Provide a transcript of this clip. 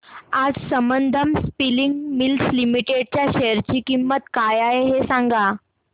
आज Sambandam spinning mills limited च्या share ची किंमत काय आहे हे सांगा